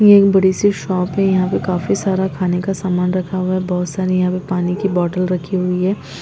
ये एक बड़ी सी शॉप है यहाँ पे काफी सारा खाने का सामान रखा हुआ है बहुत सारी यहाँ पे पानी की बॉटल रखी हुई हैं।